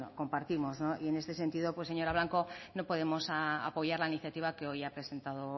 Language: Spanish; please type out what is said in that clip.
compartimos y en este sentido señora blanco no podemos apoyar la iniciativa que hoy ha presentado